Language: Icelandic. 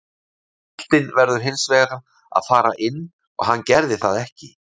Boltinn verður hins vegar að fara inn og hann gerði það ekki.